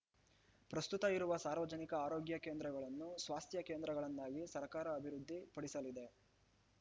ಪ್ರಸ್ತುತ ಇರುವ ಸಾರ್ವಜನಿಕ ಆರೋಗ್ಯ ಕೇಂದ್ರಗಳನ್ನು ಸ್ವಾಸ್ಥ್ಯ ಕೇಂದ್ರಗಳನ್ನಾಗಿ ಸರ್ಕಾರ ಅಭಿವೃದ್ಧಿ ಪಡಿಸಲಿದೆ